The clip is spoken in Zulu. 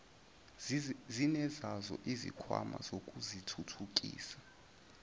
zinezazo izikhwama zokuzithuthukisa